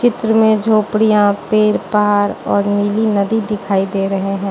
चित्र में झोपड़ियां पेर पहाड़ और नीली नदी दिखाई दे रहे हैं।